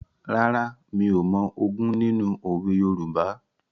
Rárá, mi ò mọ ogún nínú òwe Yorùbá.